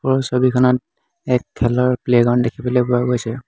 ছবিখনত এক খেলৰ প্লে গ্ৰাউণ্ড দেখিবলৈ পোৱা গৈছে।